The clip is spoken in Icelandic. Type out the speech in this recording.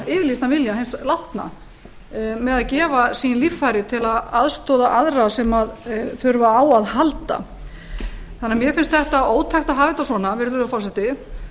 yfirlýstan vilja hins látna með að gefa sín líffæri til að aðstoða aðra sem þurfa á að halda mér finnst ótækt að hafa þetta svona virðulegur forseti